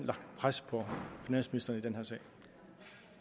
pres på finansministeren i den her sag